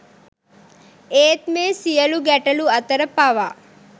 ඒත් මේ සියලු ගැටලු අතර පවා